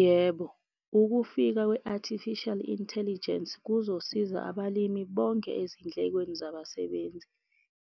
Yebo. Ukufika kwe-Artificial Intelligence kuzosiza abalimi bonge ezindlekweni zabasebenzi.